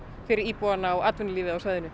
fyrir íbúana og atvinnulífið á svæðinu